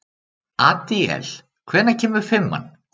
Adíel, hvenær kemur fimman?